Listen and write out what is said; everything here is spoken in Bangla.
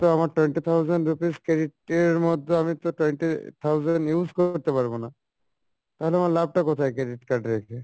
তো আমার twenty thousand rupees credit এর মধ্যে তো আমি twenty আহ thousand use করতে পারবো না, তাহলে আমার লাভ টা কোথায়? credit card রেখে।